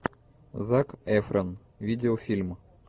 зак эфрон видеофильм